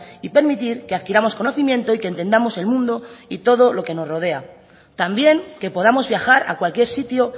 y permitir que adquiramos conocimiento y que entendamos el mundo y todo lo que nos rodea también que podamos viajar a cualquier sitio